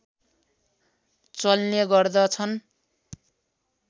चल्ने गर्दछन्